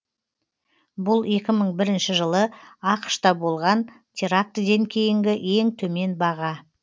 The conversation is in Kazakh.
бұл екі мың бірінші жылы ақш та болған терактіден кейінгі ең төмен баға